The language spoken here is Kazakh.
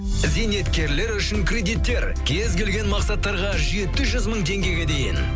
зейнеткерлер үшін кредиттер кез келген мақсаттарға жеті жүз мың теңгеге дейін